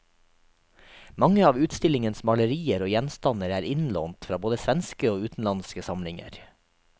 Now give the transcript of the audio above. Mange av utstillingens malerier og gjenstander er innlånt fra både svenske og utenlandske samlinger.